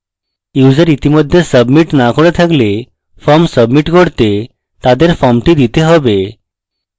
user ইতিমধ্যে submit না করে থাকলে form submit করতে তাদের ফর্মটি দিতে have